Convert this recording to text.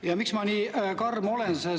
Ja miks ma nii karm olen?